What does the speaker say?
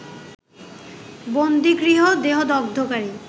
বন্দিগৃহ দেহদগ্ধকারী